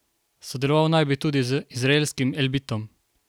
Sodeloval naj bi tudi z izraelskim Elbitom.